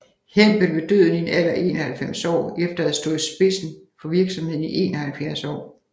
Hempel ved døden i en alder af 91 år efter at have stået i spidsen for virksomheden i 71 år